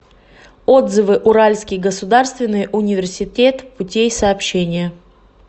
отзывы уральский государственный университет путей сообщения